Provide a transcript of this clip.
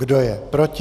Kdo je proti?